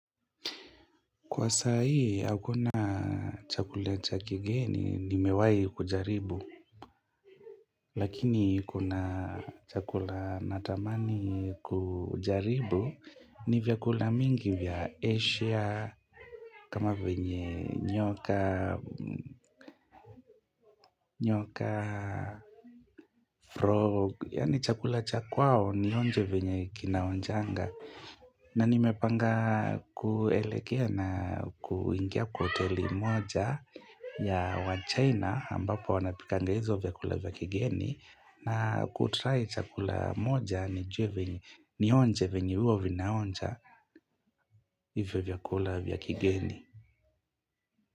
Kwa sai, hakuna chakula cha kigeni, nimewahi kujaribu. Lakini kuna chakula natamani kujaribu, ni vyakula mingi vya Asia, kama venye nyoka, frog. Yaani chakula cha kwao, nionje venye kinaonjanga. Na nimepanga kuelekea na kuingia kwa hoteli moja ya wa China ambapo wanapikanga hizo vyakula vya kigeni na kutry chakula moja nijue venye, nionje venye huwa vinaonja hivyo vyakula vya kigeni.